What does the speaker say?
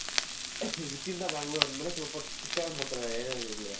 within the bangalore ಅಂದಮೇಲೆ ಸ್ವಲ್ಪ strict ಆಗಿ ಮಾಡ್ತಾರೆ